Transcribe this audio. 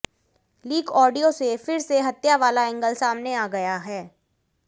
leak audio से फिर से हत्या वाला एंगल सामने आ गया है